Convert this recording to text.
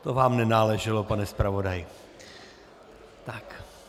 To vám nenáleželo, pane zpravodaji.